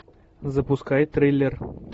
запускай триллер